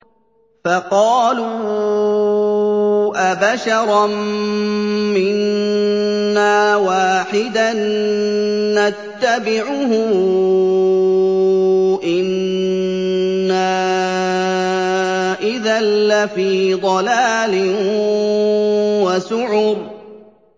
فَقَالُوا أَبَشَرًا مِّنَّا وَاحِدًا نَّتَّبِعُهُ إِنَّا إِذًا لَّفِي ضَلَالٍ وَسُعُرٍ